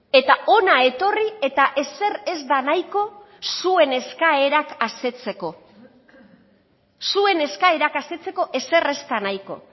eta hona etorri eta ezer ez da nahiko zuen eskaerak asetzeko zuen eskaerak asetzeko ezer ez da nahiko